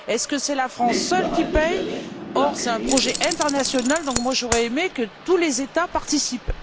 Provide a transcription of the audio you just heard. Est ce que c'est la France seule qui paie? Comme c'est un projet international, j'aurais aimé que tous les États participent.